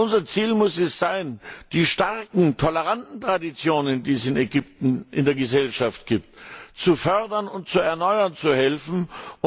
Unser Ziel muss es sein, die starken, toleranten Traditionen, die es in Ägypten in der Gesellschaft gibt, zu fördern und zu helfen, sie zu erneuern.